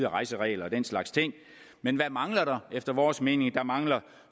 rejseregler og den slags ting men hvad mangler der efter vores mening der mangler